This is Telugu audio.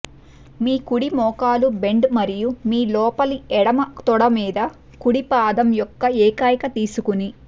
మీ కుడి మోకాలు బెండ్ మరియు మీ లోపలి ఎడమ తొడ మీ కుడి పాదం యొక్క ఏకైక తీసుకుని